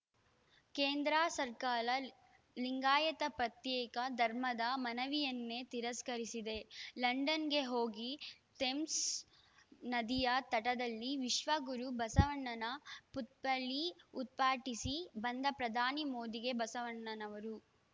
ಕೇಂದ್ರ ಸರ್ಕಾರ ಲಿಂಗಾಯತ್ ಪತ್ಯೇಕ ಧರ್ಮದ ಮನವಿಯನ್ನೇ ತಿರಸ್ಕರಿಸಿದೆ ಲಂಡನ್‌ಗೆ ಹೋಗಿ ಥೇಮ್ಸ್‌ ನದಿಯ ತಟದಲ್ಲಿ ವಿಶ್ವ ಗುರು ಬಸವಣ್ಣನ ಪುತ್ಥಳಿ ಉದ್ಪಾಟಿಸಿ ಬಂದ ಪ್ರಧಾನಿ ಮೋದಿಗೆ ಬಸವಣ್ಣನವರ